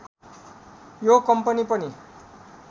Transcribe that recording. यो कम्पनी पनि